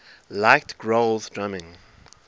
liked grohl's drumming